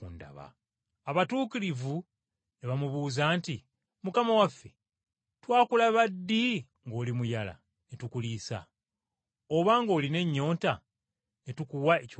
“Abatuukirivu ne bamubuuza nti, ‘Mukama waffe, twakulaba ddi ng’oli muyala ne tukuliisa? Oba ng’olina ennyonta ne tukuwa ekyokunywa?